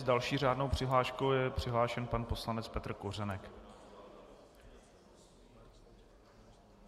S další řádnou přihláškou je přihlášen pan poslanec Petr Kořenek.